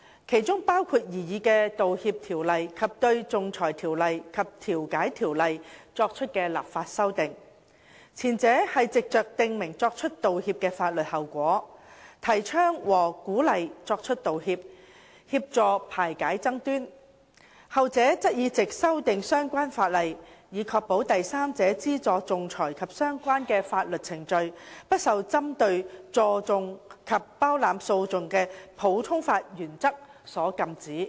其中包括擬議的道歉法例及對《仲裁條例》及《調解條例》作出的立法修訂，前者是藉着訂明作出道歉的法律後果，提倡和鼓勵作出道歉，協助排解爭端。後者則是藉修訂相關法例，以確保第三者資助仲裁及相關的法律程序，不受針對助訟及包攬訴訟的普通法原則所禁止。